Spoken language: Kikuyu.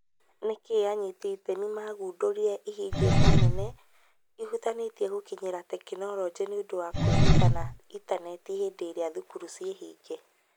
Nĩkĩĩ anyiti iteme magũndũrire ihĩngica nene ihutanĩtie gũkinyĩra tekinoronjĩ nĩũndũ wa kũĩruta na intaneti hĩndĩ ĩrĩa thukuru ciĩhinge ?